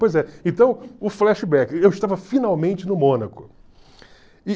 Pois é, então o flashback, eu estava finalmente no Mônaco.